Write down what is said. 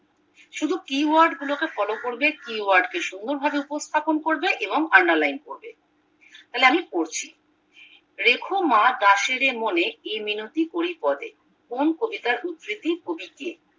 শুধু keyword গুলো কে ফলো করবে keyword কে সুন্দর ভাবে উপস্থাপন করবে এবং under line করবে তাহলে আমি পড়ছি রেখো মা দাসেরে মনে এ মিনতি করি পদে কোন কবিতার উদ্বৃতি কবি কে